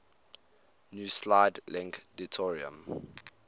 nuclide link deuterium